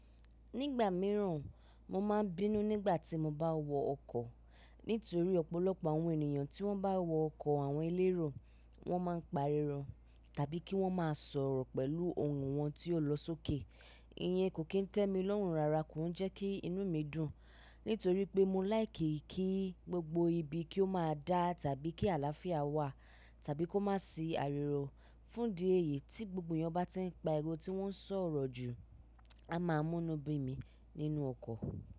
Nígbà mìíràn, mo máa ń bínú nígbà tí mo bá wọ ọkọ̀. Nítorí ọ̀pọ̀lọpọ̀ àwọn ènìyàn tí wọ́n bá wọ ọkọ̀ àwọn elérò wọ́n máa ń pariwo tàbí kí wọ́n máa sọ̀rọ̀ pẹ̀lú ohùn wọn tí ó lọ sókè. Iyen kò kín tẹ́mi lọ́hùn rara kò ń jẹ́ kí inú mi dùn. Nítorí pé mo láìki kí gbogbo ibi kí ó máa dá tàbí kí àlàáfíà wà tàbí kó má si àrìwo. Fún di èyí tí gbogbo èèyàn bá tí ń pariwo tí wọ́n ń sọ̀rọ̀ jù a máa mú inú bí mi nínú ọkọ̀.